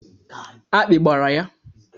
Akpị gbara ya.